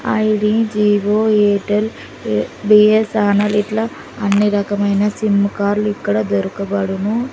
I D Jio Airtel B S N L అన్ని రకమైన sim card లు ఇక్కడ దొరకబడును.